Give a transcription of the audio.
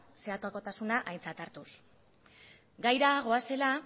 zeharkotasuna aintzat hartuz gaira goazela